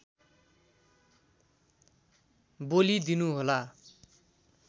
बोलि दिनु होला